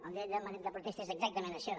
el dret de protesta és exactament això